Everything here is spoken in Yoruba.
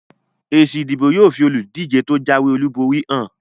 Èsì ìdìbò yóò fi olùdíje tó jáwé olúborí hàn